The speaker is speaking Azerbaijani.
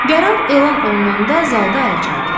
Qərar elan olunanda zalda əl çaldılar.